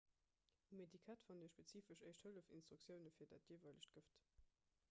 um etikett fannt dir spezifesch éischt-hëllef-instruktioune fir dat jeeweilegt gëft